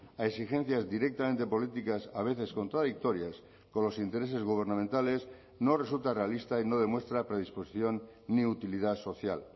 a exigencias directamente políticas a veces contradictorias con los intereses gubernamentales no resulta realista y no demuestra predisposición ni utilidad social